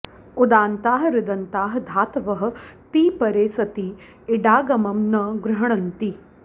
उदन्ताः ऋदन्ताः धातवः क्ति परे सति इडागमं न गृह्णन्ति